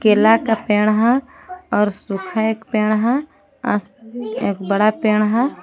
केला का पेड़ है और सूखा एक पेड़ है एक बड़ा पेड़ है।